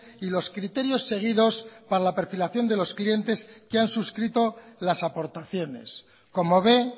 y los criterios seguidos para la perfilación de los clientes que han suscrito las aportaciones como ve